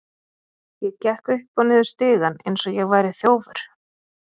Ég gekk upp og niður stigann eins og ég væri þjófur.